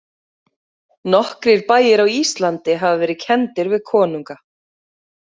Nokkrir bæir á Íslandi hafa verið kenndir við konunga.